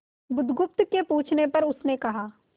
बुधगुप्त के पूछने पर उसने कहा